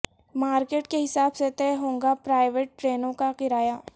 market کے حساب سے طے ہوگا پرائیویٹ ٹرینوں کا کرایہ